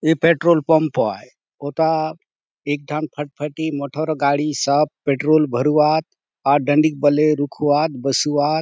ए petrol pump आय हुता एक ठान फटफटी मोटर गाड़ी सब पेट्रोल भरुआत अउर डडीक बले रुकुआत बसुआत।